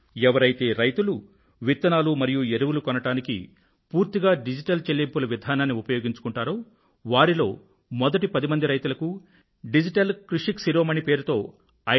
ఎవరైతే రైతులు విత్తనాలు మరియు ఎరువులు కొనడానికి పూర్తిగా డిజిటల్ చెల్లింపుల విధానాన్ని ఉపయోగించుకుంటారో వారిలో మొదటి పది మంది రైతులకు డిజిటల్ కృషక్ శిరోమణి పేరుతో రూ